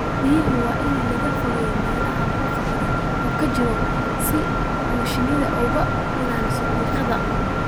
Xiniinyaha waa in laga fogeeyaa meelaha buuqa badan ka jiro si ay shinnida uga ilaaliso diiqada.